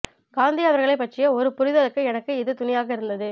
காந்தி அவர்களை பற்றிய ஒரு புரிதலுக்கு எனக்கு இது துணையாக இருந்தது